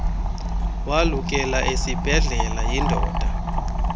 walukela esiibhedlele yindoda